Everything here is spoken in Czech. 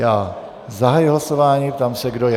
Já zahajuji hlasování, ptám se, kdo je...